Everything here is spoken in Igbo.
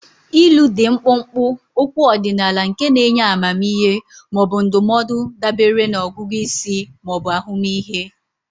Ilu dị mkpụmkpụ, okwu ọdịnala nke na-enye amamihe ma ọ bụ ndụmọdụ dabere na ọgụgụ isi ma ọ bụ ahụmịhe.